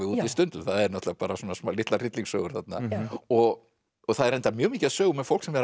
í stundum það eru litlar hryllingssögur þarna og það er reyndar mjög mikið af sögum um fólk sem er